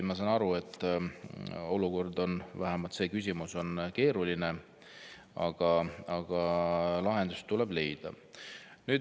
Ma saan aru, et see küsimus on keeruline, aga lahendus tuleb leida.